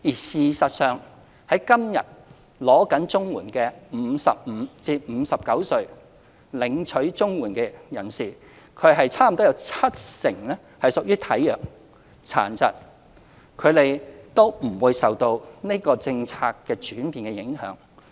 事實上，現時正領取綜援的55至59歲人士中，差不多有七成屬於體弱、殘疾，他們都不受這項政策轉變影響。